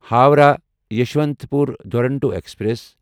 Howrah Yesvantpur Duronto express